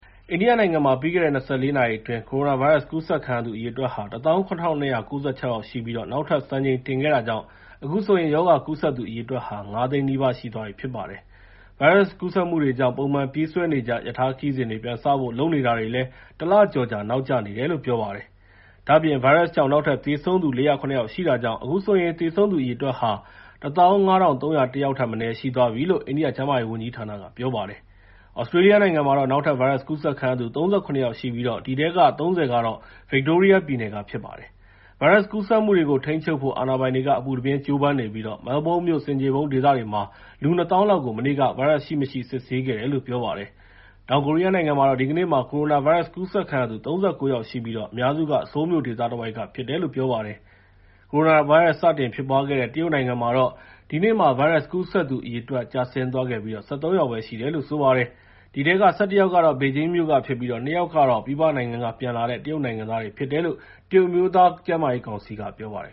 အိန္ဒိယနိုင်ငံမှာ ပြီးခဲ့တဲ့ ၂၄ နာရီအတွင်း ကိုရိုနာဗိုင်းရပ်စ်ကူးစက်ခံရသူ အရေအတွက်ဟာ ၁၇,၂၉၆ ရှိပြီး နောက်ထပ်စံချိန်တင်ခဲ့တာကြောင့် အခုဆိုရင် ရောဂါကူးစက်သူအရေအတွက်ဟာ ၅၀၀,၀၀၀ နီးပါးရှိသွားပြီဖြစ်ပါတယ်။ ဗိုင်းရပ်စ်ကူးစက်မှုတွေကြောင့် ပုံမှန်ပြေးဆွဲနေကြ ရထားခရီးစဉ်တွေ ပြန်စဖို့လုပ်နေတာတွေလည်း ၁ လကျော်ကြာ နောက်ကျနေတယ်လို့ ပြောပါတယ်။ ဒါ့အပြင် ဗိုင်းရပ်စ်ကြောင့် နောက်ထပ် သေဆုံးသူ ၄၀၇ ယောက်ရှိ တာကြောင့်အခုဆိုရင် သေဆုံးသူအရေအတွက်ဟာ ၁၅,၃၀၁ ယောက်ထက်မနည်း ရှိသွားပြီလို့လည်း အိန္ဒိယကျန်းမာရေးဝန်ကြီးဌာနက ပြောပါတယ်။ သြစတြေးလျနိုင်ငံမှာတော့နောက်ထပ် ဗိုင်းရပ်ကူးစက်ခံရသူ ၃၇ ယောက်ရှိပြီး အဲဒီထဲက ၃၀ က ဗစ်တိုးရီးယားပြည်နယ်က ဖြစ်ပါတယ်။ ဗိုင်းရပ်စ်ကူးစက်မှုတွေကို ထိန်းချုပ်နိုင်ဖို့ အာဏာပိုင်တွေက အပူတပြင်းကြိုးပမ်းနေပြီး Melbourne မြို့ ဆင်ခြေဖုံးဒေသတွေမှာ လူ ၂၀,၀၀၀ လောက်ကို မနေ့က ဗိုင်းရပ်စ်စစ်ဆေးခဲ့တယ်လို့ ပြောပါတယ်။ တောင်ကိုရီးယားနိုင်ငံမှာတော့ ဒီကနေ့မှာ ကိုရိုနာဗိုင်းရပ်စ်ကူးစက်ခံရသူ ၃၉ ယောက်ရှိပြီး အများစုက ဆိုးလ်မြို့ဒေသတဝိုက်ကဖြစ်တယ်လို အာဏာပိုင်တွေက ပြောပါတယ်။ ကိုရိုနာဗိုင်းရပ်စ် စတင်ဖြစ်ပွားခဲ့တဲ့ တရုတ်နိုင်ငံမှာတော့ ဒီနေ့မှာ ဗိုင်းရပ်စ်ကူးစက်သူအရေအတွက် ကျဆင်းသွားပြီး ၁၃ ယောက်ပဲ ရှိတယ်လို့ ပြောပါတယ်။ အဲဒီထဲက ၁၁ ယောက်ကတော့ ဘေဂျင်းမြို့က ဖြစ်ပြီး ၂ ယောက်ကတော့ ပြည်ပနိုင်ငံက ပြန်လာတဲ့ တရုတ်နိုင်ငံသားဖြစ်တယ်လို့ တရုတ်အမျိုးသားကျန်းမာရေးကောင်စီက ပြောပါတယ်